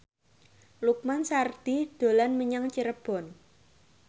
Lukman Sardi dolan menyang Cirebon